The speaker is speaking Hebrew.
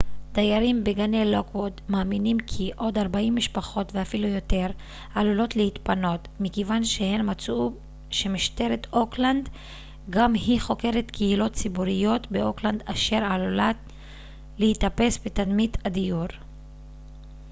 דיירים בגני לוקווד מאמינים כי עוד 40 משפחות ואפילו יותר עלולות להתפנות מכיוון שהן מצאו שמשטרת אוקלנד גם היא חוקרת קהילות ציבוריות באוקלנד אשר עלולת להיתפס בתרמית הדיור